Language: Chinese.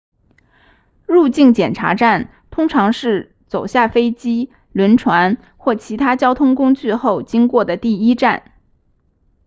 入境检查站通常是走下飞机轮船或其他交通工具后经过的第一站